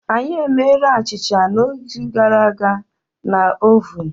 Anyị emere achịcha n'izu gara aga na ovun.